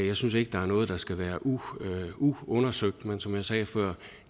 jeg synes ikke der er noget der skal være uundersøgt men som jeg sagde før